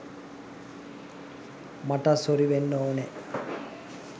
මටත් සොරි වෙන්න ඕනෑ.